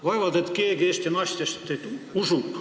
Vaevalt keegi Eesti naistest teid usub.